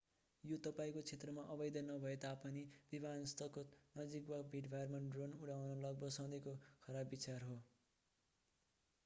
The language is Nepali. यो तपाईंको क्षेत्रमा अवैध नभए तापनि विमानस्थको नजिक वा भीडभाडमा ड्रोन उडाउनु लगभग सधैकों खराब विचार हो